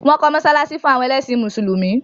Wọ́n kọ́ mọ́sálásí fún àwọn ẹlẹ́sìn mùsùlùmí